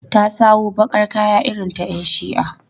Ta sawo baƙar kaya irin ta 'yan shi'a.